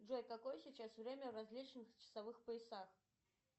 джой какое сейчас время в различных часовых поясах